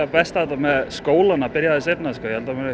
best á þetta með skólana byrja aðeins seinna sko